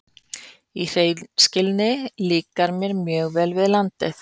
Í hreinskilni líkar mér mjög vel við landið.